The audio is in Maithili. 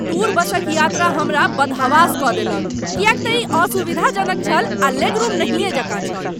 टूर बसक यात्रा हमरा बदहवास कऽ देलक किएक तँ ई असुविधाजनक छल आ लेगरूम नहियेँ जेकाँ छल।